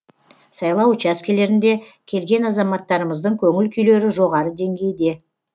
сайлау учаскелерінде келген азаматтарымыздың көңіл күйлері жоғары деңгейде